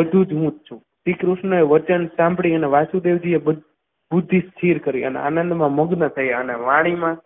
બધું જ હું છું શ્રીકૃષ્ણએ વચન સાંભળી અને વાસુદેવજીએ બધું બુદ્ધિ સ્થિર કરી નાખી અને આનંદમાં મગ્ન થયા અને વાણીમાં